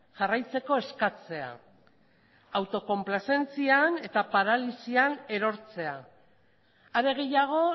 jarraitzeko eskatzea autokonplazentzian eta paralisian erortzea are gehiago